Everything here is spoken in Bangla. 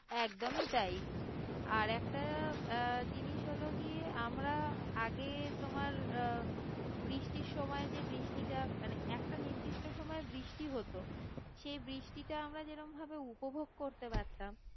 একদমই তাই আর একটা আহ জিনিস হল গিয়ে আমরা আগে তোমার আহ বৃষ্টির সময় যে বৃষ্টিটা মানে একটা নির্দিষ্ট সময়ে বৃষ্টি হতো সেই বৃষ্টিটা আমরা যেরম ভাবে উপভোগ করতে পারতাম